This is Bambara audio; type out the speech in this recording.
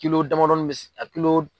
dama dɔnin bɛ a